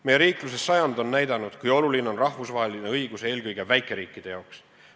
Meie riikluse sajand on näidanud, kui oluline on rahvusvaheline õigus eelkõige väikeriikide jaoks.